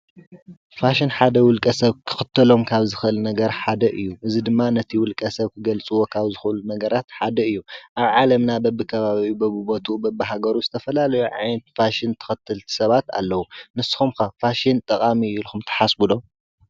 ፋሽን ሓደ ውልቀ ሰብ ክኽተሎም ካብ ዝኽል ነገር ሓደ እዩ፡፡ እዚ ድማ ነቲ ውልቀ ሰብ ክገልጽዎ ኻብ ዝኽአሉ ነገራት ሓደ እዩ፡፡ ኣብ ዓለምና በብኸባቢኡ፣ በብቦቱኡ፣ በብሃገሩ ዝተፈላለዩ ዓይነት ፋሽን ተኸትልቲ ሰባት ኣለዉ፡፡ ንስኹም ከ ፋሽን ጠቓሚ አዩ ኢልኹም ትሓስቡ ዶ?